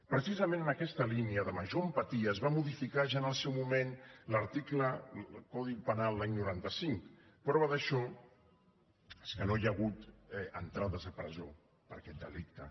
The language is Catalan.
precisament en aquesta línia de major empatia es va modificar ja en el seu moment el codi penal l’any noranta cinc prova d’això és que no hi ha hagut entrades a presó per aquest delicte